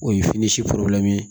O ye fini si